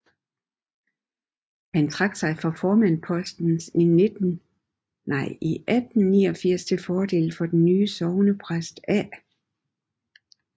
Han trak sig fra formandspostens i 1849 til fordel den nye sognepræst A